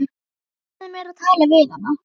Lofaðu mér að tala við hana.